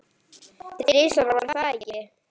Þrisvar, var það ekki?